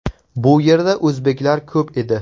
Bu yerda o‘zbeklar ko‘p edi.